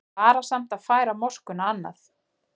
Varasamt að færa moskuna annað